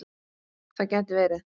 Það gæti verið.